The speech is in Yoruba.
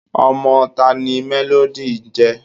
ọmọ taani Melody ńje?